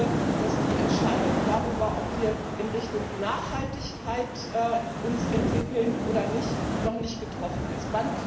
Ich glaube, dass die Entscheidung darüber, ob wir uns in Richtung Nachhaltigkeit entwickeln oder nicht, noch nicht getroffen ist.